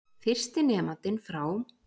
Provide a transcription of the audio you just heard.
Fyrsti nemandinn frá